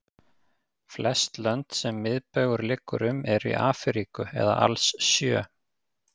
Flest lönd sem miðbaugur liggur um eru í Afríku eða alls sjö.